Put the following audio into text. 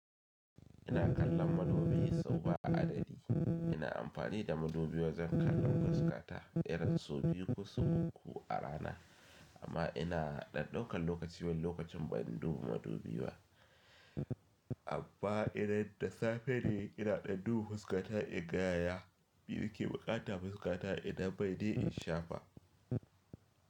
Ina kallon madubi sau ba adadi. Ina amfani da madubi wajen kallon fuskata irin so biyu ko uku a rana. Amma ina ɗan ɗaukan lokaci wani lokacin ban dubi madubi ba. Amma idan da safe ne ina ɗan duba fuskata in ga yaya mi buƙata fuskata idan mai ne in shafa.